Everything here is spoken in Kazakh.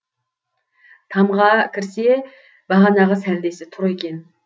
тамға кірсе бағанағы сәлдесі тұр екен